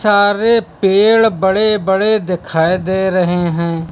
सारे पेड़ बड़े बड़े दिखाई दे रहे हैं।